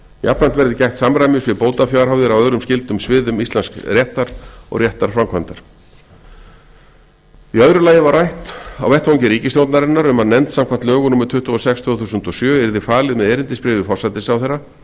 jafnframt verði gætt samræmis við bótafjárhæðir á öðrum skyldum sviðum íslensks réttar og réttarframkvæmdar í öðru lagi var rætt um á vettvangi ríkisstjórnarinnar að nefnd samkvæmt lögum númer tuttugu og sex tvö þúsund og sjö yrði falið með erindisbréfi forsætisráðherra